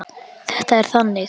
Þetta er þannig.